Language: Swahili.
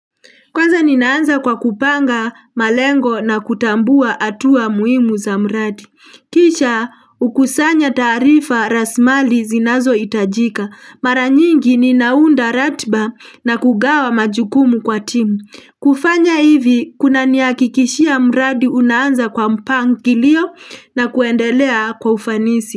Kwanza ninaanza kwa kupanga malengo na kutambua hatua muhimu za mradi. Kisha hukusanya taarifa rasilimali zinazohitajika. Mara nyingi ninaunda ratiba na kugawa majukumu kwa timu. Kufanya hivi kunanihakikishia mradi unaanza kwa mpangilio na kuendelea kwa ufanisi.